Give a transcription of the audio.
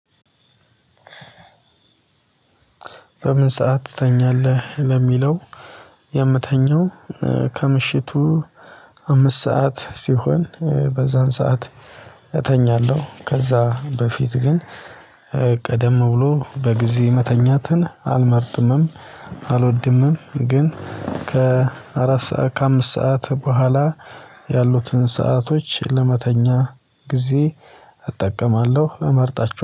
በምን ሰዓት ትተኛለህ ለሚለው? የምተኛው ከምሽቱ አምስት ሰዓት ሲሆን በዛን ሰዓት እተኛለሁ። ከዛ በፊት ግን ቀደም ብሎ በጊዜ መተኛትን አልመርጥምም አልወድምም። ግን ከአራት ሰዓት ከአምስት ሰዓት በኋላ ያሉትን ሰአቶች ለመተኛ ጊዜ እጠቀማለሁ እመርጣችኋለሁ